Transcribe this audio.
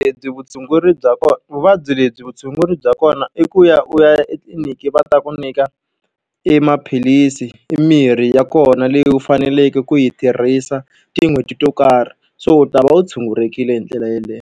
Lebyi vutshunguri bya kona, vuvabyi lebyi vutshunguri bya kona i ku ya u ya etliliniki va ta ku nyika e maphilisi, e mirhi ya kona leyi u faneleke ku yi tirhisa tin'hweti to karhi. So u ta va u tshungulekile hi ndlela yeleyo.